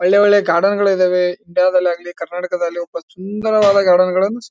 ಒಲ್ಲೆ ಒಲ್ಲೆ ಗಾರ್ಡೆನ್ ಗಳ್ ಇದಾವೆ ಇಂಡಿಯಾ ದಲ್ಲಾಗಲಿ ಕರ್ನಾಟಕದಲ್ಲೂ ಸುಂದರವಾದ ಗಾರ್ಡೆನ್ ಗಳನ್ನೂ--